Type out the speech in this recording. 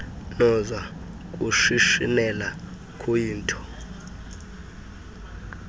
noza kushishinela kuyto